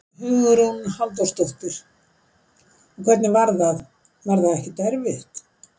Hugrún Halldórsdóttir: Og hvernig var það, var það ekkert erfitt?